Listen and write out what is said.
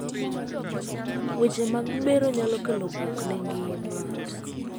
weche mag bero nyalo kelo buok ne ngima